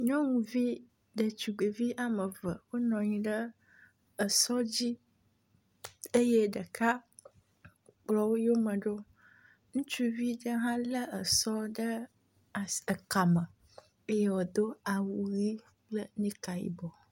Nyɔnuvi ɖetugbivi ame eve wonɔ anyi esɔ dzi eye ɖeka kplɔ wo yome ɖo. Ŋutsuvi aɖe hã le esɔ ɖe asi ekame eye wodo awu ʋi kple nik yibɔ.